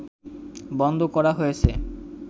বন্ধ করা হয়েছে